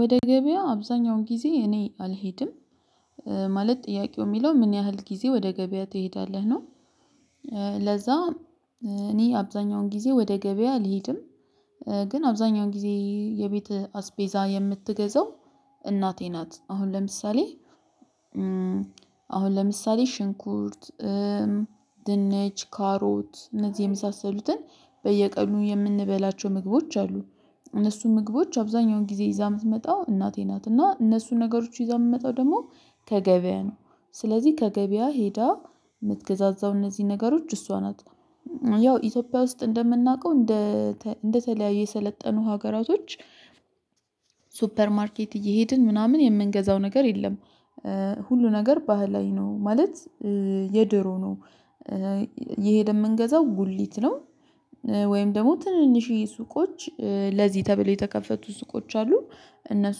ወደ ገበያ አብዛኛውን ጊዜ እኔ አልሄድም። ማለት ጥያቄው የሚለው ምን ያህል ጊዜ ወደ ገበያ ትሄዳለህ ነው? ለዛ እኔ አብዛኛውን ጊዜ ወደ ገበያ ልሂድም። ግን አብዛኛውን ጊዜ የቤት አስቤዛ የምትገዛው እናቴ ናት። አሁን ለምሳሌ። አሁን ለምሳሌ ሽንኩርት። ድንች ካሮት እነዚህ የመሳሰሉትን በየቀኑ የምንበላቸው ምግቦች አሉ። እነሱ ምግቦች አብዛኛውን ጊዜ ይዛ የምትመጣው እናቴ ናት እና እነሱን ነገሮች ይዛ የምትመጣው ደግሞ ከገበያ ነው። ስለዚህ ከገበያ ሄዳ መትገዛዛው እነዚህ ነገሮች እሷ ናት። ያው ኢትዮጵያ ውስጥ እንደምናውቀው እንደ እንደተለያዩ የሰለጠኑ ሀገራቶች። ሱፐር ማርኬት እየሄድን ምናምን የምንገዛው ነገር የለም። ሁሉ ነገር ባህላዊ ነው ማለት የድሮ ነው። እየሄድን የምንገዛው ጉሊት ነው። ወይም ደግሞ ትንንሽ ሱቆች ለዚህ ተብለው የተከፈቱ ሱቆች አሉ። እነሱ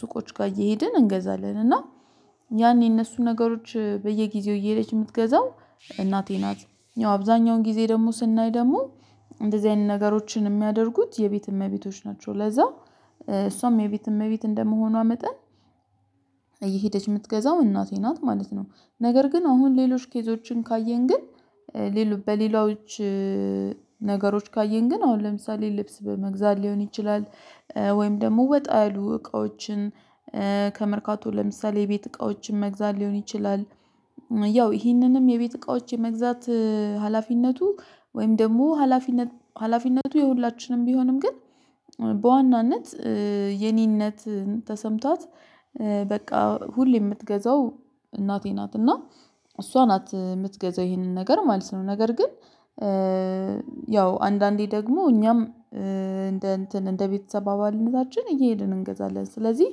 ሱቆች ጋር እየሄድን እንገዛለን እና ያኔ እነሱን ነገሮች በየጊዜው እየሄደች የምትገዛው እናቴ ናት። ያው አብዛኛውን ጊዜ ደግሞ ስናይ ደግሞ እንደዚህ አይነት ነገሮችን የሚያደርጉት የቤት እመቤቶች ናቸው። ለዛ እሷም የቤት እመቤት እንደመሆኗ መጠን። እየሄደች የምትገዛው እናቴ ናት ማለት ነው። ነገር ግን አሁን ሌሎች ኬዞችን ካየን ግን በሌላው ነገሮች ካየን ግን አሁን ለምሳሌ ልብስ በመግዛት ሊሆን ይችላል። ወይም ደግሞ ወጣ ያሉ እቃዎችን ከመርካቶ ለምሳሌ የቤት እቃዎችን መግዛት ሊሆን ይችላል። ያው ይህንንም የቤት እቃዎች የመግዛት ሀላፊነቱ ወይም ደግሞ ሀላፊነቱ የሁላችንም ቢሆንም ግን በዋናነት የኔነት ተሰምቷት በቃ ሁሌ የምትገዛው እናቴ ናት። እና እሷ ናት የምትገዛው ይሄንን ነገር ማለት ነው። ነገር ግን ያው አንዳንዴ ደግሞ እኛም እንደ እንትን እንደ ቤተሰብ አባልነታችን እየሄድን እንገዛለን። ስለዚህ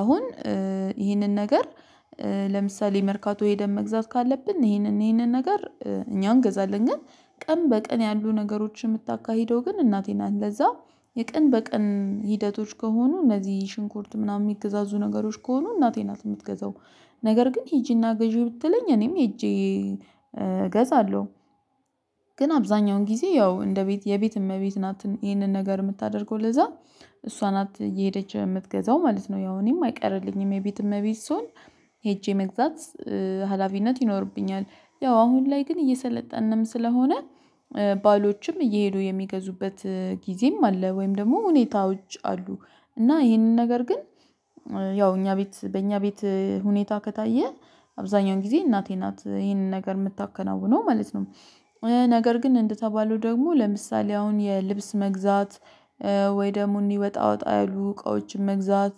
አሁን ይህንን ነገር ለምሳሌ መርካቶ ሄደን መግዛት ካለብን ይህንን ይህንን ነገር እኛ እንገዛለን ግን። ቀን በቀን ያሉ ነገሮችን የምታካሂደው ግን እናቴ ናት ለዛ የቀን በቀን ሂደቶች ከሆኑ እነዚህ ሽንኩርት ምናምን የሚገዛዙ ነገሮች ከሆኑ እናቴ ናት የምትገዛው ነገር ግን ሄጄና ገዢ ብትለኝ እኔም ሄጄ እገዛለሁ። ግን አብዛኛውን ጊዜ ያው እንደ ቤት የቤት እመቤት ናት ይህንን ነገር የምታደርገው ለዛ እሷ ናት እየሄደች የምትገዛው ማለት ነው። ያው እኔም አይቀርልኝም የቤት እመቤት ስሆን ሄጄ መግዛት ሀላፊነት ይኖርብኛል። ያው አሁን ላይ ግን እየሰለጠንንም ስለሆነ ባሎችም እየሄዱ የሚገዙበት ጊዜም አለ ወይም ደግሞ ሁኔታዎች አሉ። እና ይህንን ነገር ግን ያው እኛ ቤት በእኛ ቤት ሁኔታ ከታየ አብዛኛውን ጊዜ እናቴ ናት ይሄንን ነገር የምታከናውነው ማለት ነው። ነገር ግን እንደተባለው ደግሞ ለምሳሌ አሁን የልብስ መግዛት ወይ ደግሞ ወጣ ወጣ ያሉ እቃወችን መግዛት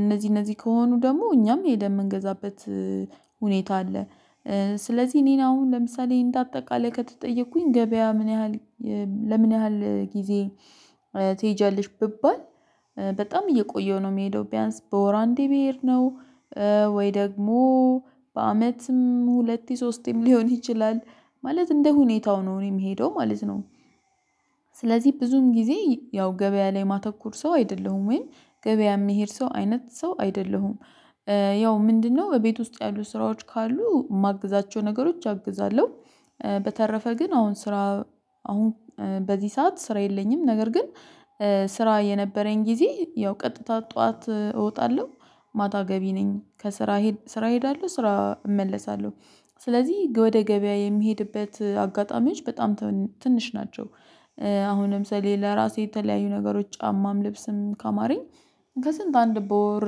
እነዚህ እነዚህ ከሆኑ ደግሞ እኛም ሄደን የምንገዛበት ሁኔታ አለ። ስለዚህ እኔ አሁን ለምሳሌ እንደ አጠቃላይ ከተጠየቅኩኝ ገበያ ምን ያህል ለምን ያህል ጊዜ ትሄጃለሽ ብባል? በጣም እየቆየው ነው የሚሄደው ቢያንስ በወር አንዴ ብሄድ ነው። ወይ ደግሞ በአመትም ሁለት ሶስትም ሊሆን ይችላል ማለት እንደ ሁኔታው ነው እኔ ምሄደው ማለት ነው። ስለዚህ ብዙም ጊዜ ያው ገበያ ላይ ማተኩር ሰው አይደለሁም ወይ ገበያ የሚሄድ ሰው አይነት ሰው አይደለሁም። ያው ምንድነው በቤት ውስጥ ያሉ ስራዎች ካሉ የማግዛቸው ነገሮች አግዛለሁ። በተረፈ ግን አሁን ስራ አሁን በዚህ ሰዓት ስራ የለኝም። ነገር ግን ስራ የነበረኝ ጊዜ ያው ቀጥታ ጠዋት እወጣለሁ ማታ ገቢ ነኝ ከስራ ስራ እሄዳለሁ ስራ እመለሳለሁ። ስለዚህ ወደ ገበያ የሚሄድበት አጋጣሚዎች በጣም ትንሽ ናቸው። አሁን ለምሳሌ ለራሴ የተለያዩ ነገሮች ጫማም ልብስም ካማረኝ ከስንት አንድ በወር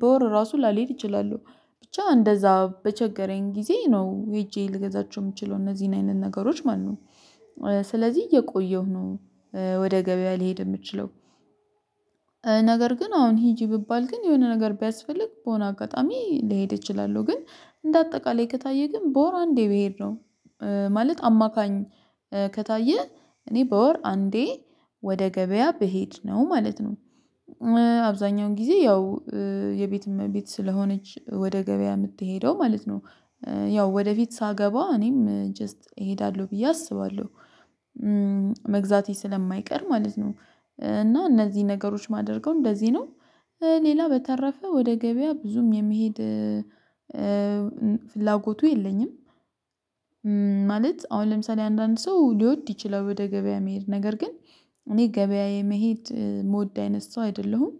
በወር ራሱ ላልሄድ እችላለሁ ብቻ እንደዛ በቸገረኝ ጊዜ ነው ሄጄ ልገዛቸው የምችለው እነዚህን አይነት ነገሮች ማነው? ስለዚህ እየቆየሁ ነው። ወደ ገበያ ሊሄድ የምችለው። ነገር ግን አሁን ሂጂ ብባል ግን የሆነ ነገር ቢያስፈልግ በሆነ አጋጣሚ ሊሄድ እችላለሁ ግን እንደ አጠቃላይ ከታየ ግን በወር አንዴ ብሄድ ነው። ማለት አማካኝ ከታየ እኔ በወር አንዴ ወደ ገበያ ብሄድ ነው ማለት ነው። አብዛኛውን ጊዜ ያው የቤት እመቤት ስለሆነች ወደ ገበያ የምትሄደው ማለት ነው። ያው ወደፊት ሳገባ እኔም ጀስት እሄዳለሁ ብዬ አስባለሁ። መግዛቴ ስለማይቀር ማለት ነው። እና እነዚህ ነገሮች የማደርገው እንደዚህ ነው። ሌላ በተረፈ ወደ ገበያ ብዙም የመሄድ ፍላጎቱ የለኝም። ማለት አሁን ለምሳሌ አንዳንድ ሰው ሊወድ ይችላል ወደ ገበያ መሄድ ነገር ግን እኔ ገበያ የመሄድ ምወድ አይነት ሰው አይደለሁም